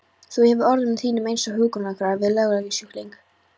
Þú hagar orðum þínum einsog hjúkrunarkona við langlegusjúkling.